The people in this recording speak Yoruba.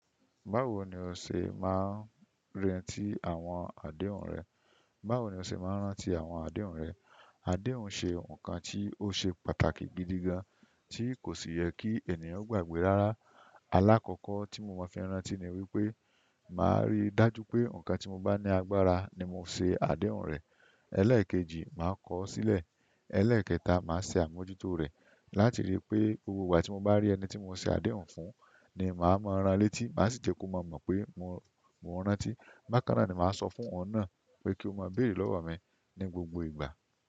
Báwo ni o ṣe máa ń rántí àwọn àdéhùn rẹ̀? Báwo ni o ṣe máa ń rántí àwọn àdéhùn rẹ̀? Àdéhùn ṣe nǹkan tí ó ṣe pàtàkì gidi gan, tí kò sì yẹ kí ènìyàn gbàgbé rárá. Alákọ̀ọ́kọ́ tí mo máa fi rántí ní wípé, màá rí dájú pé nǹkan tí mo bá ní agbára ni mo ṣe àdéhùn rẹ̀. Ẹlẹ́ẹ̀kejì, màá kọ ọ́ sílẹ̀. Ẹlẹ́ẹ̀kẹta, màá ṣe àmójútó rẹ̀ láti rí i pé, gbogbo ìgbà tí mo bá rí ẹni tí mo ṣe àdéhùn fún, ni màá mọ ran létí, màá sì jẹ́ kó mọ̀ mọ̀ pé mo rántí. Bákàná ni màá sọ fún oun náà pé kí ó máa béèrè lọ́wọ́ mi ní gbogbo ìgbà.